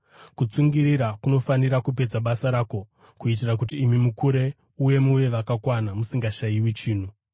Kutsungirira kunofanira kupedza basa rako kuitira kuti imi mukure uye muve vakakwana, musingashayiwi chinhu.